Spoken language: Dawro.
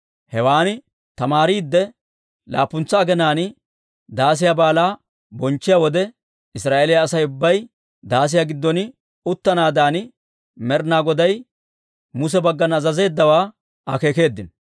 Hewan tamaariidde, laappuntsa aginaan Daasiyaa Baalaa bonchchiyaa wode, Israa'eeliyaa Asay ubbay daasiyaa giddon uttanaadan Med'inaa Goday Muse baggana azazeeddawaa akeekeeddino.